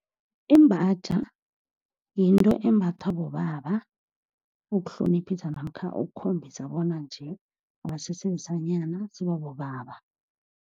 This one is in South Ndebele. Imbatjha yinto embathwa bobaba, ukuhloniphisa namkha ukukhombisa bona nje, abasese besanyana, sebabobaba.